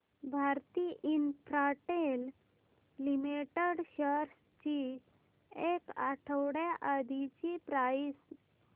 Bharti Infratel limited shares ची एक आठवड्या आधीची प्राइस